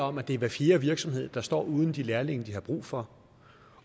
om at det er hver fjerde virksomhed der står uden de lærlinge de har brug for